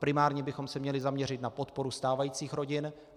Primárně bychom se měli zaměřit na podporu stávajících rodin.